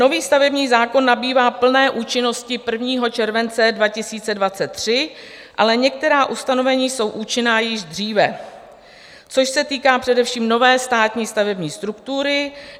Nový stavební zákon nabývá plné účinnosti 1. července 2023, ale některá ustanovení jsou účinná již dříve, což se týká především nové státní stavební struktury.